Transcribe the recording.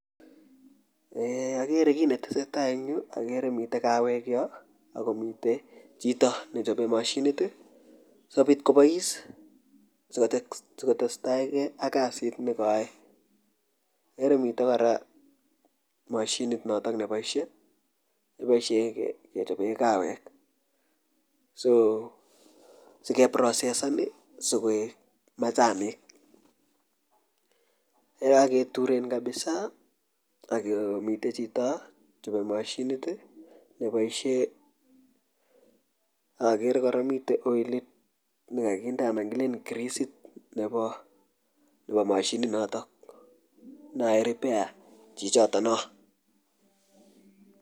Agere kit ne tesetai en Yuu agere miten kaweek Yoon ago miten ago miten chitoo nechape mashiniit sikobiit kobais ak tesetai ak kasiit ne ka yae igere nguni kaweeek so sikeproseseen ii sikoek machanik ye kagetureen kabisaa ak kinde chutoo mashiniit ii kebaisheen agere kora miten oilit ne kakondee anan grisiit nebo mashiniit notoon neyaen repair chichotoon noo.